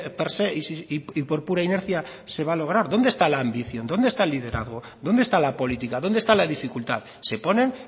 per se y por pura inercia se va lograr dónde está la ambición dónde está el liderazgo dónde está la política dónde está la dificultad se ponen